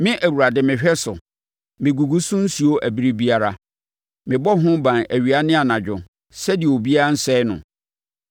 Me, Awurade, mehwɛ so; megugu so nsuo ɛberɛ biara. Mebɔ ho ban awia ne anadwo sɛdeɛ obiara rensɛe no.